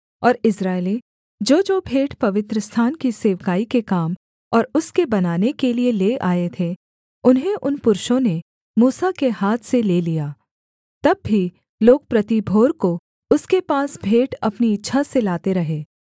और इस्राएली जोजो भेंट पवित्रस्थान की सेवकाई के काम और उसके बनाने के लिये ले आए थे उन्हें उन पुरुषों ने मूसा के हाथ से ले लिया तब भी लोग प्रति भोर को उसके पास भेंट अपनी इच्छा से लाते रहे